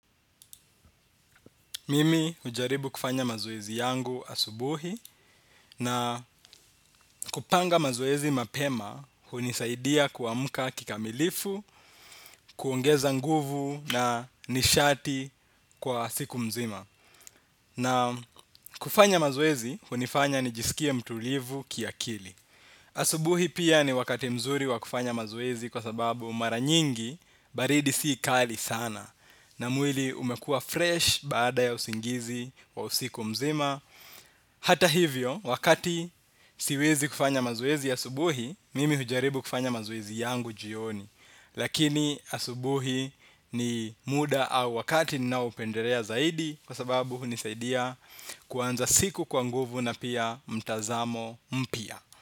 Mimi hujaribu kufanya mazoezi yangu asubuhi na kupanga mazoezi mapema hunisaidia kuamka kikamilifu, kuongeza nguvu na nishati kwa siku mzima. Na kufanya mazoezi hunifanya nijisikie mtulivu kiakili. Asubuhi pia ni wakati mzuri wa kufanya mazoezi kwa sababu mara nyingi baridi sii kali sana. Na mwili umekuwa fresh baada ya usingizi wa usiku mzima. Hata hivyo, wakati siwezi kufanya mazoezi ya asubuhi mimi hujaribu kufanya mazoezi yangu jioni. Lakini asubuhi ni muda au wakati ninaopendelea zaidi kwa sababu hunisaidia kuanza siku kwa nguvu na pia mtazamo mpya.